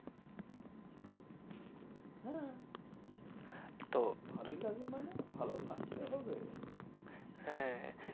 হ্যাঁ তো ভালোই লাগবে মানে? ভালো লাগতে হবে। হ্যাঁ